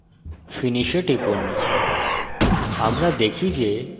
তারপর finish এ টিপুন